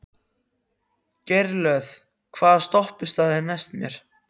Geirlöð, hvaða stoppistöð er næst mér?